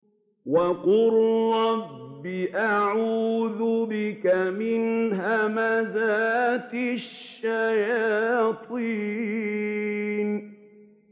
وَقُل رَّبِّ أَعُوذُ بِكَ مِنْ هَمَزَاتِ الشَّيَاطِينِ